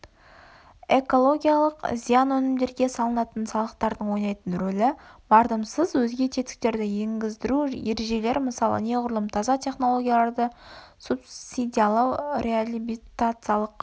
экологиялық зиян өнімдерге салынатын салықтардың ойнайтын ролі мардымсыз өзге тетіктерді енгіздіру ережелері мысалы неғұрлым таза технологияларды субсидиялау реабилитациялық